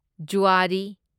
ꯓꯨꯑꯥꯔꯤ